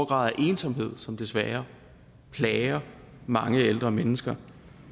grad af ensomhed som desværre plager mange ældre mennesker